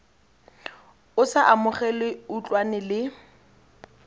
o sa amogele utlwane le